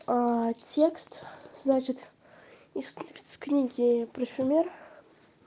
текст значит из книги парфюмер